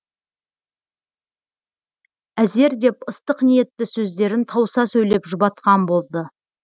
әзер деп ыстық ниетті сөздерін тауыса сөйлеп жұбатқан болды